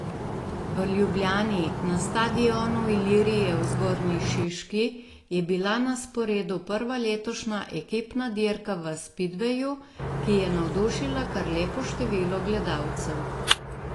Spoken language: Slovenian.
V Ljubljani, na stadionu Ilirije v Zgornji Šiški, je bila na sporedu prva letošnja ekipna dirka v spidveju, ki je navdušila kar lepo število gledalcev.